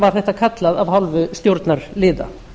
var þetta kallað af hálfu stjórnarliða